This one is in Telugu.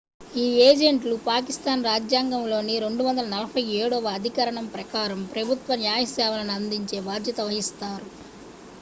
ఈ ఏజెంట్లు పాకిస్థాన్ రాజ్యాంగంలోని 247 వ అధికరణం ప్రకారం ప్రభుత్వ న్యాయ సేవలను అందించే బాధ్యత వహిస్తారు